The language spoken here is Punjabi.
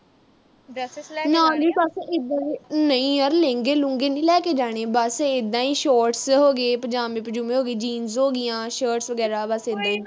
ਨਾਲੇ ਬਸ ਉਦਾਂ ਦੇ। ਨਹੀਂ ਯਰ ਮਹਿੰਗੇ-ਮੂੰਹਗੇ ਨੀਂ ਲੈ ਕੇ ਜਾਣੇ। ਬਸ ਏਦਾਂ ਹੀ shorts ਹੋਗੇ ਪਜਾਮੇ-ਪਜੂਮੇ ਹੋਗੇ, jeans ਹੋਗੀਆਂ, shirts ਵਗੈਰਾ, ਬਸ ਏਦਾਂ ਈ